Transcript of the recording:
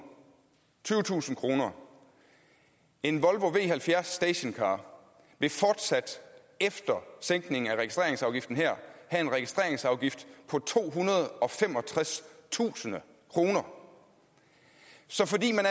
tyvetusind kroner en volvo v70 stationcar vil fortsat efter sænkningen af registreringsafgiften her have en registreringsafgift på tohundrede og femogtredstusind kroner så fordi man